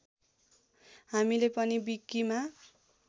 हामीले पनि विकीमा